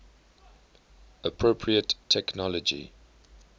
appropriate technology